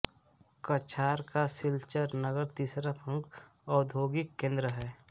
कछार का सिलचर नगर तीसरा प्रमुख औद्योगिक केन्द्र है